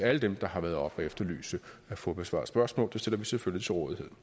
alle dem der har været oppe at efterlyse at få besvaret spørgsmål det stiller vi selvfølgelig til rådighed